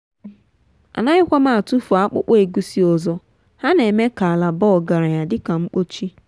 anaghịkwa m atụfu akpụkpọ egusi ọzọ ha n’eme ka ala baa ọgaranya dị ka mkpochi.